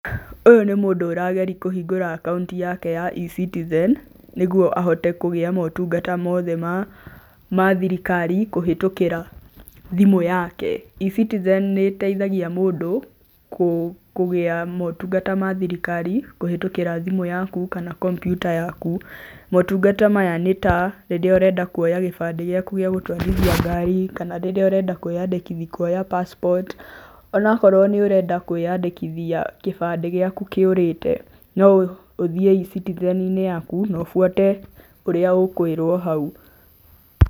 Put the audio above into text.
Ũyu nĩ mũndũ ũrageria kũhingũra akaunti yake ya E-Citizen, nĩguo ahote kũgĩa motungata mothe ma thirikari kũhĩtũkĩra thimu yake. E-Citizen nĩĩteithagia mũndũ kũgĩa motungata ma thirikari kuhĩtũkĩra thimu yaku kana kompiuta yaku motungata maya nĩta; rĩrĩa ũrenda kũoya gĩbandĩ gĩaku gĩa gũtwarithia ngari, kana rĩrĩa ũrenda kwĩyandĩkithia kũoya passport ona akorwo nĩũrenda kwĩyandĩkithia kĩbandĩ gĩaku kĩũrĩte, no ũthiĩ E-Citizen - inĩ yaku na ũbuate ũrĩa ũkwĩrwo hau.